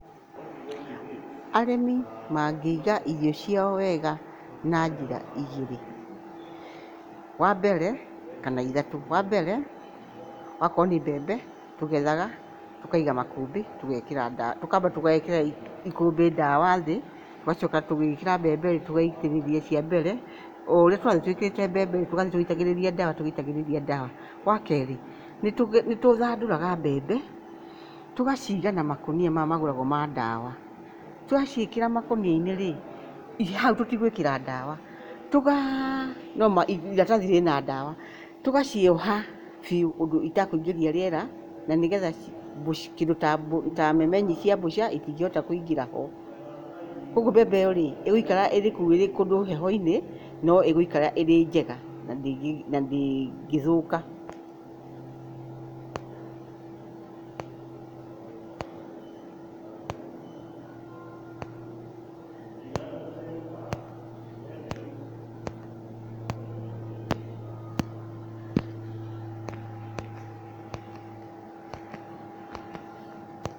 Arĩmi maingĩiga irio ciao wega na njĩra igĩrĩ, wambere, kana ithatũ, wambere, wakorwo nĩ mbembe tũgethaga tũkaiga makũmbĩ tũgekĩra ndawa, tũkamba tũgekĩra ikũmbĩ ndawa thĩ, tũgacoka tũgĩkĩra mbembe-rĩ, tũgaitĩrĩria cia mbere. O ũrĩa tũrathiĩ twĩkĩrĩte mebembe tũgathiĩ tũgĩitagíĩĩria ndawa tũgĩitagĩrĩria ndawa. Wakerĩ, nĩtũthandũraga mbembe tũgaciga na makũnia maya magũragwo ma ndawa. Twaciĩkĩra makũnia-inĩ rĩ, githĩ hau tũtigwĩkĩra ndawa, tũgaa no ma iratathi rĩna ndawa, tũgacioha biũ ũndũ itakũingĩria rĩera nĩgetha ci kĩndũ ta memenyi cia mbũca itingĩhota kũingĩra ho. Kuoguo mebmbe ĩyo-rĩ, ĩgũikara ĩrĩ kũu ĩrĩ kũndũ heho-inĩ, no ĩgũikara ĩrĩ njega na ndĩngĩthũka. Pause